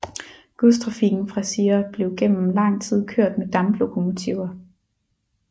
Godstrafikken fra Sire blev gennem lang tid kørt med damplokomotiver